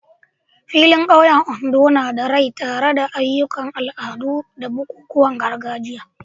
Filin ƙauyen Ondo na da rai tare da ayyukan al'adu da bukukuwan gargajiya.